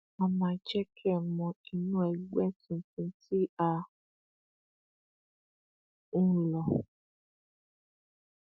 á máa jẹ kẹ ẹ mọ inú ẹgbẹ tuntun tí à ń lò